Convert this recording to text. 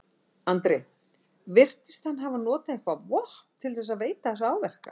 Andri: Virtist hann hafa notað eitthvað vopn til þess að veita þessa áverka?